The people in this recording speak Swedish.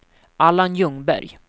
Allan Ljungberg